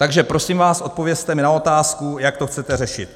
Takže prosím vás, odpovězte mi na otázku, jak to chcete řešit.